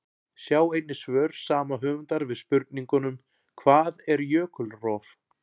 Sjá einnig svör sama höfundar við spurningunum: Hvað er jökulrof?